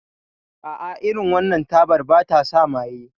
A a, irin wannan tabar ba ta sa maye